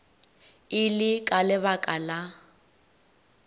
e le ka lebaka la